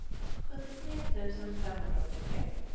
sjuttiotre tusen femhundraåttiotre